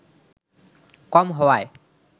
কম হওয়ায়